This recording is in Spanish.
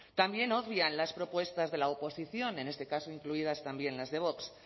también obvian las propuestas de la oposición en este caso incluidas también las de vox